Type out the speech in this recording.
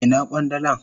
Ina kwandalan?